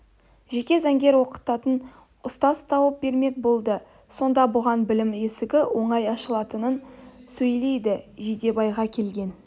жеке заңгер оқытатын ұстаз тауып бермек болды сонда бұған білім есігі оңай ашылатынын сөйледі жидебайға келген